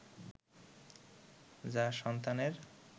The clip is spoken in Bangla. যা সন্তানের